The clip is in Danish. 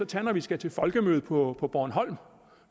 tage når vi skal til folkemøde på på bornholm